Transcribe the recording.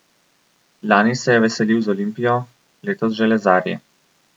Lani se je veselil z Olimpijo, letos z železarji.